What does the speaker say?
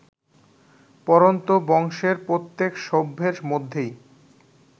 পরন্তু বংশের প্রত্যেক সভ্যের মধ্যেই